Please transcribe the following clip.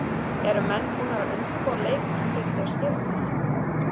Eru menn búnir að undirbúa leikmenn fyrir þau skilaboð?